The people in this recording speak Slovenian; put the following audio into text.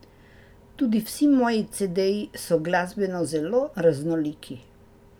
Tudi vsi moji cedeji so glasbeno zelo raznoliki.